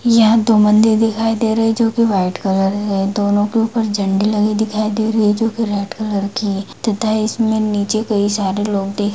यहाँ दो मंदिर दिखाई दे रहे है जो कि वाइट कलर के है दोनों के ऊपर झंडे लगे दिखाई दे रही जो कि रेड कलर की तथा इसमें नीचे कई सारे लोग देख --